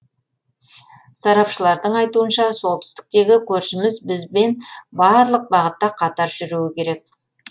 сарапшылардың айтуынша солтүстіктегі көршіміз бізбен барлық бағытта қатар жүруі керек